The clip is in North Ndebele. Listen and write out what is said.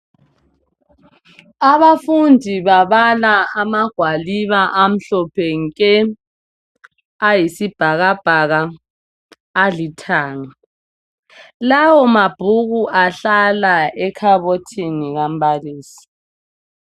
Abafundi babala amagwaliba amhlophe nke, ayisibhakabhaka alithanga lawo mabhuku ahlala ekhabothini kambalisi.